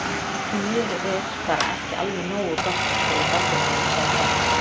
Því miður er bara ekki alveg nógu gott- greip Valdimar inn í samtalið.